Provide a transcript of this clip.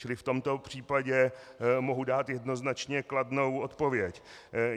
Čili v tomto případě mohu dát jednoznačně kladnou odpověď.